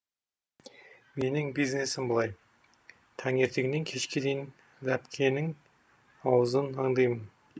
менің бизнесім былай таңертеңнен кешке дейін ләпкенің аузын аңдимын